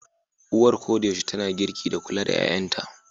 Uwar koda yaushe tana girki da kula da 'ƴa'ƴanta.